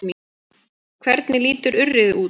Hvernig lítur urriði út?